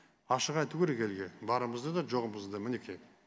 ашық айту керек елге барымызды да жоғымызды мінеки